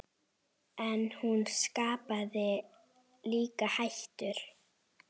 En hún skapaði líka hættur.